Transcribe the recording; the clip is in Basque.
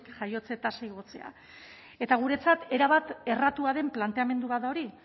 jaiotze tasa igotzea eta guretzat erabat erratua den planteamendu bat da hori